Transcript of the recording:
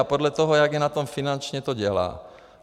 A podle toho, jak je na tom finančně, to dělá.